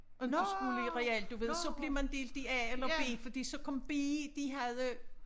Inte skulle i real du ved så blev man delt i a eller b fordi så kom b de havde